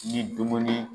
Ni dumuni